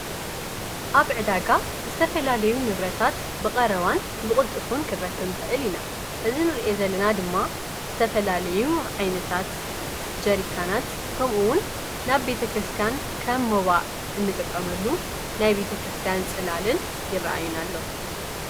ኣብ ዕዳጋ ዝተፈላለዩ ንብረታት ብቐረዋን ብቕልጥፉን ክረክብኒ ኽእል ኢና እዝ ንርአ ዘለና ድማ ዝተፈላለዩ ዓይነታት ጀሪካናት ከምኡውን ናብ ቤተ ክርስቲያን ከመዋ እንጥቆመሉ ናይ ቤተ ክርስቲያን ጽላልን ይረአዩና ኣለዉ።